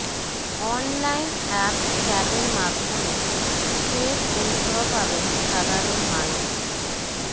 online app ক্যাবের মাধ্যমে ফের পরিষেবা পাবেন সাধারণ মানুষ